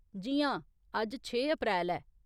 जी हां, अज्ज छे अप्रैल ऐ।